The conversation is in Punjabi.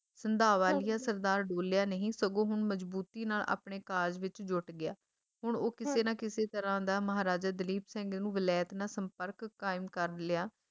ਸੰਧਾਂਵਾਲੀਆ ਸਰਦਾਰ ਡੋਲਿਆ ਨਹੀਂ ਸਗੋਂ ਹੁਣ ਮਜਬੂਤੀ ਨਾਲ ਆਪਣੇ ਕਾਰਜ ਵਿੱਚ ਜੁੱਟ ਗਿਆ, ਹੁਣ ਉਹ ਕਿਸੇ ਨਾ ਕਿਸੇ ਤਰਾਂ ਦਾ ਮਹਾਰਾਜਾ ਦਲੀਪ ਸਿੰਘ ਨੂੰ ਵਲੈਤ ਨਾਲ ਸੰਪਰਕ ਕਾਇਮ ਕਰ ਲਿਆ